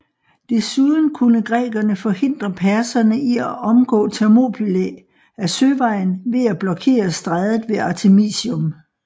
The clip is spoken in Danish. Desuden kunne grækerne forhindre perserne i at omgå Thermopylæ ad søvejen ved at blokere strædet ved Artemisium